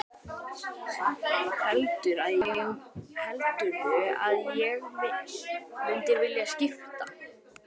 Heldurðu að ég mundi vilja skipta?